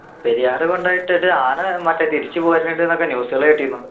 പെരിയാറ് കൊണ്ടോയിട്ടിട്ട് ആന മറ്റേ തിരിച്ചു പോരുന്നുണ്ട്ന്നൊക്കെ news കള് കേട്ടിരുന്നു